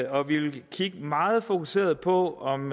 og vi vil kigge meget fokuseret på om